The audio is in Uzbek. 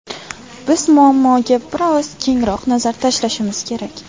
Biz muammoga bir oz kengroq nazar tashlashimiz kerak.